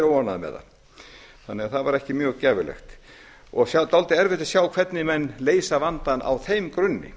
með það þannig að það var ekki mjög gæfulegt og dálítið erfitt að sjá hvernig menn leysa vandann á þeim grunni